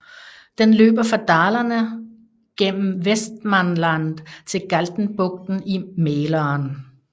Den løber fra Dalarna gennem Västmanland til Galtenbugten i Mälaren